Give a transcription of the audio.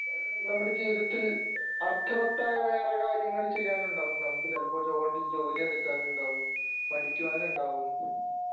നമ്മുടെ ജീവിതത്തിൽ അർത്ഥവത്തായ വേറേ കാര്യങ്ങൾ ചെയ്യാനുണ്ടാവും നമുക്ക് ചിലപ്പോൾ ജോലി ജോലി എടുക്കുവാനുണ്ടാവും പഠിക്കുവാനുണ്ടാവും